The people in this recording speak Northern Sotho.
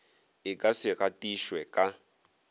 e ka se gatišwe ka